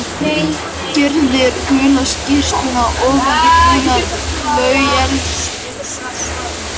Gyrðir gula skyrtuna ofan í brúnar flauelsbuxur.